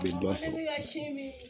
I bi dɔ sɔrɔ ne bi ka sin min